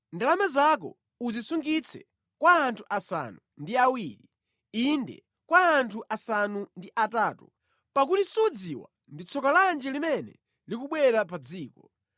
Ndalama zako uzisungitse kwa anthu asanu ndi awiri, inde kwa anthu asanu ndi atatu, pakuti sudziwa ndi tsoka lanji limene likubwera pa dziko.